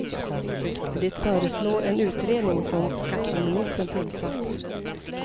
Det föreslår en utredning som skatteministern tillsatt.